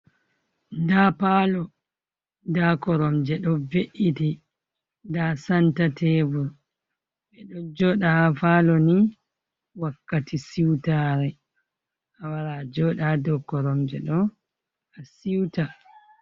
Nda palo, nda korom je ɗo ve’iti nda santa tebur. Ɓe ɗo joda haa falo ni wakkati siutare, a wara a joɗa haa do koromje ɗo a siuta.